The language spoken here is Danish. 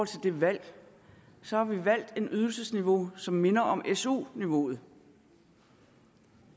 til det valg så har vi valgt et ydelsesniveau som minder om su niveauet